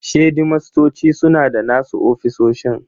Shedimastoci suna da nasu ofisoshin.